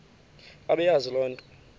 bebeyazi le nto